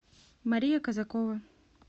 мария казакова